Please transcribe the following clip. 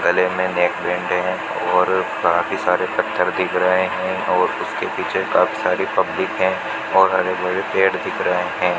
गले में नेकबैंड है और काफी सारे पत्थर दिख रहे हैं और उसके पीछे काफी सारी पब्लिक हैं और हरे भरे पेड़ दिख रहे हैं।